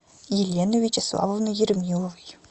еленой вячеславовной ермиловой